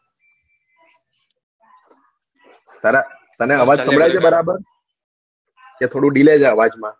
તને અવાજ સંભળાય છે બરાબર કે થોડું delay છે અવાજ માં?